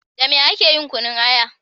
Da me ake yin kunun aya?